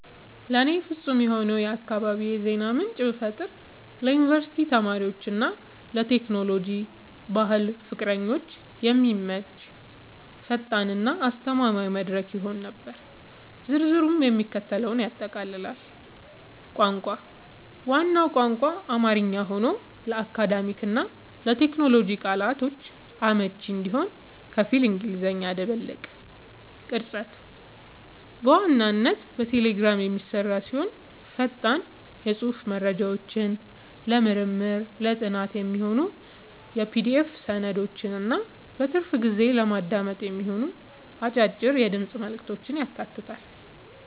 ለእኔ ፍጹም የሆነውን የአካባቢ የዜና ምንጭ ብፈጥር ለዩኒቨርሲቲ ተማሪዎች እና ለቴክኖሎጂ/ባህል ፍቅረኞች የሚመች፣ ፈጣን እና አስተማማኝ መድረክ ይሆን ነበር። ዝርዝሩም የሚከተለውን ያጠቃልላል - ቋንቋ፦ ዋናው ቋንቋ አማርኛ ሆኖ፣ ለአካዳሚክ እና ለቴክኖሎጂ ቃላቶች አመቺ እንዲሆን ከፊል እንግሊዝኛ ድብልቅ። ቅርጸት፦ በዋናነት በቴሌግራም የሚሰራ ሲሆን፣ ፈጣን የጽሑፍ መረጃዎችን፣ ለምርምርና ጥናት የሚሆኑ የPDF ሰነዶችን እና በትርፍ ጊዜ ለማዳመጥ የሚሆኑ አጫጭር የድምፅ መልዕክቶችን ያካትታል።